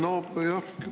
Aitäh!